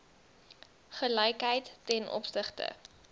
gelykheid ten opsigte